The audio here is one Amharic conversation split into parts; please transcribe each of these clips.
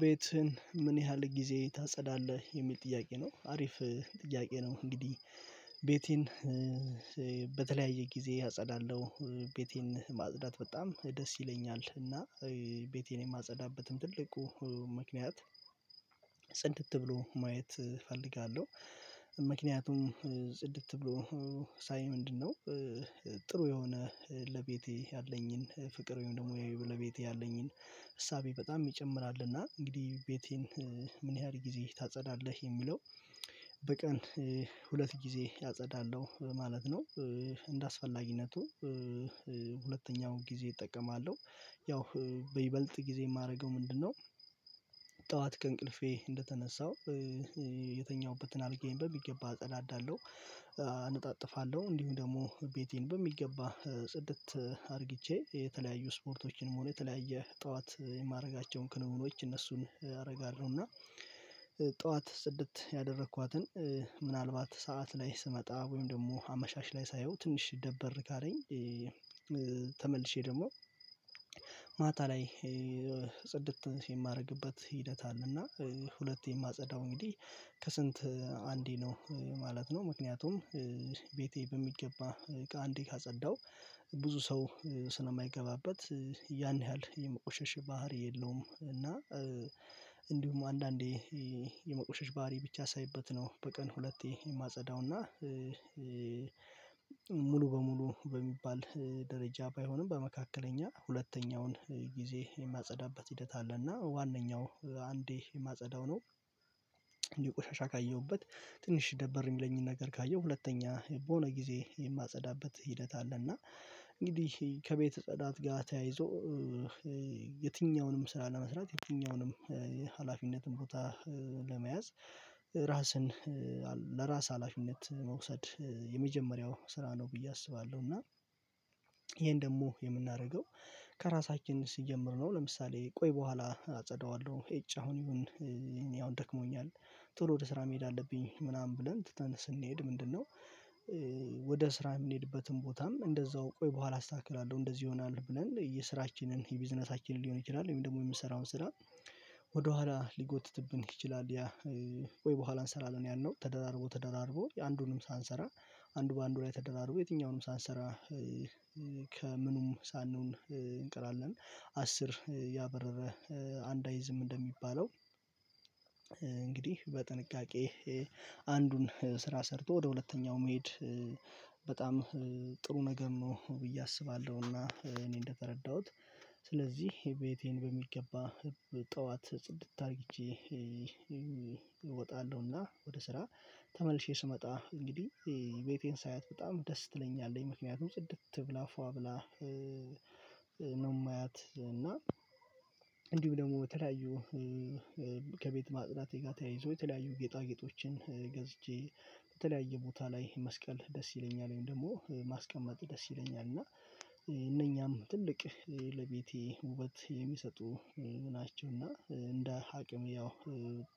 ቤትህን ምን ያህል ጊዜ ታጸዳለህ የሚል ጥያቄ ነው አሪፍ ጥያቄ ነው። እንግዲህ ቤቴን በተለያየ ጊዜ አጸዳለሁ ቤቴን ማጽዳት በጣም ደስ ይለኛል። እና ቤቴን የማጸዳበትም ትልቁ ምክንያት ጽድት ብሎ ማየት እፈልጋለሁ። ምክንያቱም ጽድት ብሎ ሳይ ምንድነው? ጥሩ የሆነ ለቤቴ ያለኝን ፍቅር ወይም ደግሞ ለቤቴ ያለኝን እሳቤ በጣም ይጨምራልና። እንግዲህ ቤቴን ምን ያህል ጊዜ ታጸዳለህ የሚለው በቀን ሁለት ጊዜ አጸዳለሁ ማለት ነው። እንደአስፈላጊነቱ ሁለተኛውንጊዜ እጠቀማለሁ ያው በይበልጥ ጊዜ የማደርገው ምንድነው? ጠዋት ከእንቅልፌ እንደተነሳሁ የተኛሁበትን አልጋዬን በሚገባ አጸዳዳለሁ። እነጣጥፋለሁ እንዲሁም ደግሞ ቤቴን በሚገባ ጽድት አርግቼ የተለያዩ ስፖርቶችንም ሆነ የተለያየ ጠዋት የማደርጋቸውን ክንውኖች እነሱን አደርጋለሁ። እና ጠዋት ጽድት ያደረኳትን ምናልባት ከሰአት ላይ ስመጣ ወይም ደግሞ አመሻሽ ላይ ሳየው ትንሽ ደብር ካለኝ። ተመልሼ ደግሞ ማታ ላይ ጽድት የማደርግበት ሂደት አለና ሁለቴ የማጸዳው እንግዲህ ከስንት አንዴ ነው ማለት ነው። ምክንያቱም ቤቴ በሚገባ አንዴ ካጸዳሁ ብዙ ሰው ስለማይገባበት ያን ያህል የመቆሸሽ ባህሪ የለውም። እና እንዲሁም አንዳንዴ የመቆሸሽ ባህሪ ብቻ ሳይበት ነው በቀን ሁለቴ የማጸዳው። እና ሙሉ በሙሉ በሚባል ደረጃ ባይሆንም በመካከለኛ ሁለተኛውን ጊዜ የማጸዳበት ሂደት አለና ዋነኛው አንዴ የማጸዳው ነው። አንዴ ቆሻሻ ካየሁበት ትንሽ ደበር የሚለኝን ነገር ካየሁ ሁለተኛ በሆነ ጊዜ የማጸዳበት ሂደት አለና። እንግዲህ ከቤት ጽዳት ጋር ተያይዞ የትኛውንም ስራ ለመስራት የትኛውንም ሀላፊነትን ቦታ ለመያዝ ራስን ለራስ ሀላፊነት መውሰድ የመጀመሪያው ስራ ነው ብዬ አስባለሁ። እና ይሄን ደግሞ የምናደርገው ከራሳችን ሲጀምር ነው። ለምሳሌ ቆይ በኋላ አጸዳዋለሁ ኤጭ አሁን ይሁን እኔ አሁን ደክሞኛል። ቶሎ ወደ ስራ መሄድ አለብኝ ምናምን ብለን ትተን ስንሄድ ምንድነው? ወደ ስራ የምንሄድበትን ቦታም እንደዛው ቆይ በኋላ አስተካክላለሁ እንደዚህ ይሆናል ብለን የስራችንን የቢዝነሳችንን ሊሆን ይችላል ወይንም ደግሞ የምንሰራውን ስራ ወደኋላ ሊጎትትብን ይችላል። ወይ በኋላ እንሰራለን ያልነው ተደራርቦ ተደራርቦ የአንዱንም ሳንሰራ አንዱ በአንዱ ላይ ተደራርቦ የትኛውንም ሳንሰራ። ከምኑም ሳንሆን እንቀራለን አስር ያባረረ አንድ አይዝም እንደሚባለው። እንግዲህ በጥንቃቄ አንዱን ስራ ሰርቶ ወደ ሁለተኛው መሄድ በጣም ጥሩ ነገር ነው። ብዬ አስባለሁና እኔ እንደተረዳሁት ስለዚህ ቤቴን በሚገባ ጠዋት ጽድት አድርጌ እወጣለሁና። ወደ ስራ ተመልሼ ስመጣ እንግዲህ ቤቴን ሳያት በጣም ደስ ትለኛለች ምክንያቱም ጽድት ብላ ፏ ብላ ነው የማያት እና። እንዲሁም ደግሞ በተለያዩ ከቤት ማጽዳቴ ጋር ተያይዞ የተለያዩ ጌጣጌጦችን ገዝቼ በተለያየ ቦታ ላይ መስቀል ደስ ይለኛል። ወይም ደግሞ ማስቀመጥ ደስ ይለኛል እና እነኛም ትልቅ ለቤቴ ውበት የሚሰጡ ናቸውና። እንደ አቅም ያው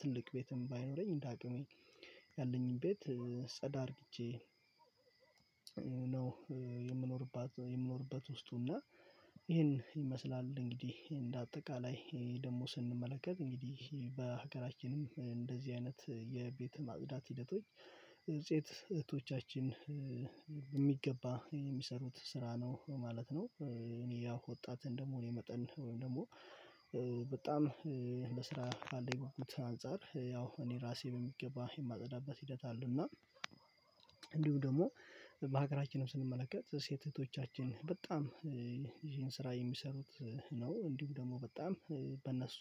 ትልቅ ቤትም ባይኖረኝ እንደ አቅሜ ያለኝን ቤት ጸዳ አድርጌ። ነው የምኖርባት የምኖርበት ውስጡ እና ይሄን ይመስላል። እንግዲህ እንደ አጠቃላይ ደግሞ ስንመለከት እንግዲህ በሀገራችንም እንደዚህ አይነት የቤተ ማጽዳት ሂደቶች ሴት እህቶቻችን በሚገባ የሚሰሩት ስራ ነው ማለት ነው። እኔ ያው ወጣትን ደግሞ እኔ መጠን ወይም ደግሞ በጣም ለስራ ካለኝ ጉጉት አንፃር ያው እኔ ራሴ በሚገባ የማጸዳበት ሂደት አለና። እንዲሁ ደግሞ በሀገራችንም ስንመለከት ሴት እህቶቻችን በጣም ይሄን ስራ የሚሰሩት ነው። እንዲሁ ደግሞ በጣም በእነሱ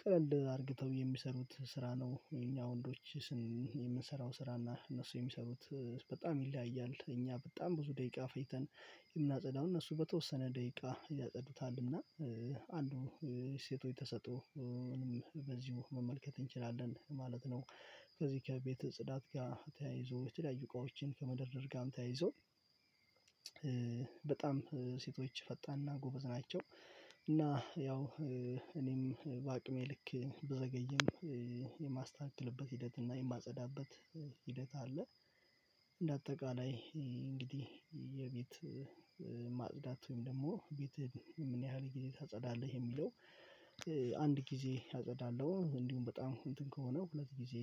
ቀለል አድርገው የሚሰሩት ስራ ነው። የእኛ ወንዶች ስን የምንሰራው ስራ እና እነሱ የሚሰሩት በጣም ይለያያል። እኛ በጣም ብዙ ደቂቃ ፈጅተን የምናጸዳው እነሱ በተወሰነ ደቂቃ ያጸዱታል። እና አንዱ የሴቶች ተሰጥኦ ምንም በዚሁ መመልከት እንችላለን ማለት ነው። ከዚህ ከቤተ ጽዳት ጋር ተያይዞ የተለያዩ እቃዎችን ከመደርደር ጋርም ተያይዞ በጣም ሴቶች ፈጣንና ጎበዝ ናቸው። እና ያው እኔም በአቅሜ ልክ ብዘገይም የማስተካክልበት ሂደት እና የማጸዳበት ሂደት አለ። እንደ አጠቃላይ እንግዲህ የቤት ማጽዳት ወይም ደግሞ ቤትህን ምን ያህል ጊዜ ታጸዳለህ የሚለው አንድ ጊዜ አጸዳለሁ እንዲሁም በጣም እንትን ከሆነ ሁለት ጊዜ